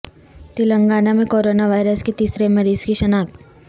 تلنگانہ میں coronavirus کے تیسرے مریض کی شناخت